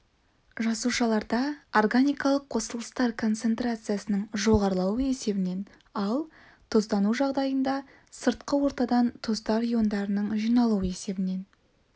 жасушаларда органикалық қосылыстар концентрациясының жоғарылауы есебінен ал тұздану жағдайында сыртқы ортадан тұздар иондарының жиналуы есебінен